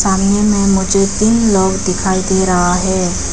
में मुझे तीन लोग दिखाई दे रहा है।